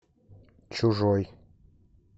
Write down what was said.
чужой